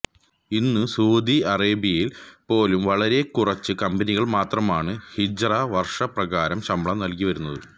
ഇന്ന് സുഊദി അറേബ്യയില് പോലും വളരെ കുറച്ച് കമ്പനികള് മാത്രമാണ് ഹിജ്റ വര്ഷ പ്രകാരം ശമ്പളം നല്കിവരുന്നത്